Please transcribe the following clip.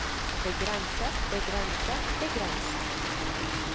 begrenser begrenser begrenser